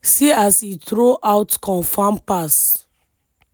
see as he throw out confam pass.